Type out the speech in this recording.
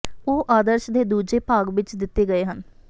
ਉਹ ਆਦਰਸ਼ ਦੇ ਦੂਜੇ ਭਾਗ ਵਿਚ ਦਿੱਤੇ ਗਏ ਹਨ